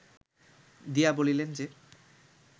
দিয়া বলিলেন যে